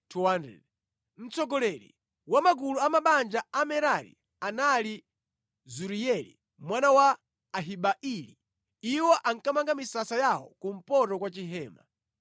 Mtsogoleri wa magulu a mabanja a Amerari anali Zuriyeli mwana wa Abihaili. Iwo ankamanga misasa yawo kumpoto kwa Chihema.